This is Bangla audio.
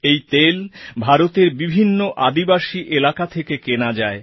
এই তেল ভারতের বিভিন্ন আদিবাসী এলাকা থেকে কেনা যায়